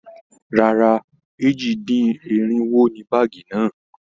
Rárá, èjì-dín-irinwo ni iye báàgì náà.